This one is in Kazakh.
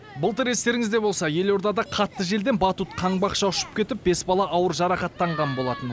былтыр естеріңізде болса елордада қатты желден батут қаңбақша ұшып кетіп бес бала ауыр жарақаттанған болатын